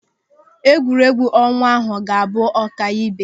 Egwuregwu ọnwa ahụ ga-abụ ọkaibe.